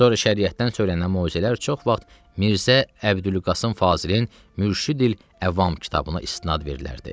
Sonra şəriətdən söylənən möizələr çox vaxt Mirzə Əbdülqasım Fazilin Mürşidül Əvam kitabına istinad verilərdi.